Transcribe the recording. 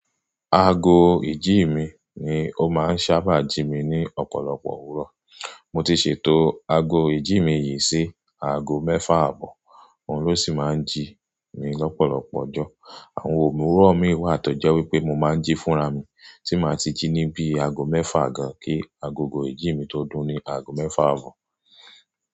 Aago ìjí mi ni ó máa ń sábà jí mi ní ọ̀pọ̀lọpọ̀ òwúrọ̀. Mo ti ṣètò aago ìjí mi yìí sí aago mẹ́fà àbọ̀, òun ló sì máa ń jí mi lọ́pọ̀lọpọ̀ ọjọ́. Àwọn òwúrọ̀ mi wà tó jẹ́ wípé mo máa ń jí fúnra mi tí màá ti jí níbí aago mẹ́fà gan-an kí agogo ìjí mi tó dún ní aago mẹ́fà àbọ̀.